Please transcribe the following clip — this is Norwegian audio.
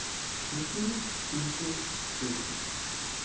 tusen tusen tusen